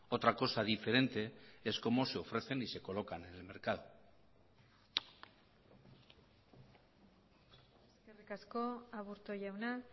otra cosa diferente es cómo se ofrecen y se colocan en el mercado eskerrik asko aburto jauna